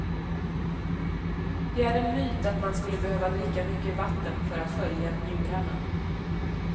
Det är en myt att man skulle behöva dricka mycket vatten för att skölja njurarna.